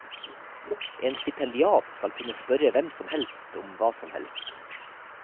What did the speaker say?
En stipendiat skal kunne spørre hvem som helst om hva som helst.